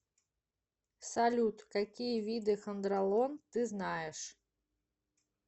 салют какие виды хондролон ты знаешь